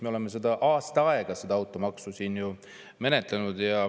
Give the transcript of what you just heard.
Me oleme aasta aega seda automaksu siin ju menetlenud.